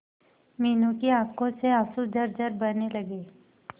मीनू की आंखों से आंसू झरझर बहने लगे